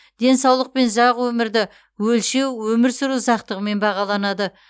денсаулық пен ұзақ өмірді өлшеу өмір сүру ұзақтығымен бағаланады